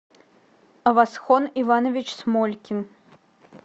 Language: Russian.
авасхон иванович смолькин